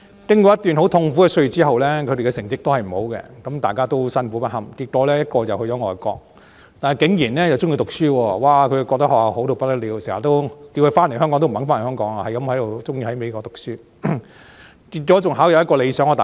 經過一段很痛苦的歲月之後，他們的成績依然未如理想，而大家都辛苦不堪，結果一個去了外國後竟然喜歡讀書，覺得學校好到不得了，要他回香港也不願意，喜歡留在美國讀書，最終考上理想的大學。